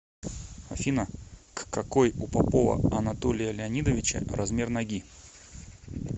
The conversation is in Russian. афина ккакой у попова анатолия леонидовича размер ноги